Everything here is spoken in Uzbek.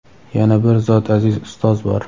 Yana bir zot aziz ustoz bor.